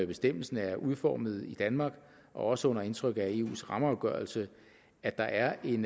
bestemmelsen er udformet i danmark og også under indtryk af eu rammeafgørelsen at der er en